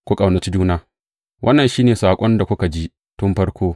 Ku ƙaunaci juna Wannan shi ne saƙon da kuka ji tun farko.